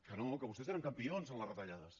que no que vostès eren campions en les retallades